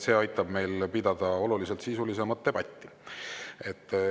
See aitab meil pidada oluliselt sisulisemat debatti.